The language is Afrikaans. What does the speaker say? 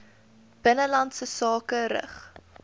binnelandse sake rig